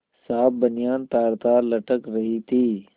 साफ बनियान तारतार लटक रही थी